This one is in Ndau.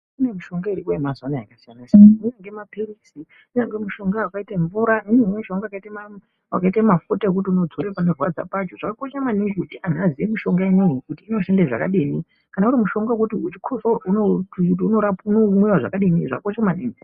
Kune mishonga iriyo mazuwanaya yakasiyana siyana imweni ngemaphilizi kunyangwe mushonga wakaita mvura , imweni mishonga wakaitei mafuta wekuti unodzora panorwadza pacho , zvakakosha maningi kuti antu aziye mishonga ineyi kuti inoshande zvakadini kana uri mushonga wekuti uchikosoro unoti kuti unomwiwa zvakadini zvakakosha maningi.